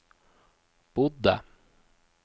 bodde